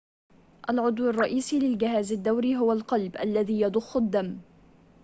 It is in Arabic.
العضو الرئيسي للجهاز الدوري هو القلب الذي يضخ الدم